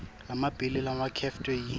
lamabili labakhetfwe yi